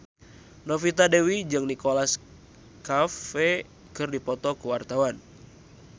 Novita Dewi jeung Nicholas Cafe keur dipoto ku wartawan